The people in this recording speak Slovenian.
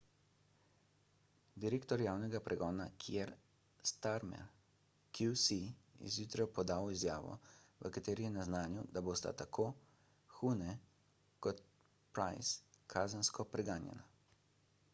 direktor javnega pregona kier starmer qc je zjutraj podal izjavo v kateri je naznanil da bosta tako huhne kot pryce kazensko preganjana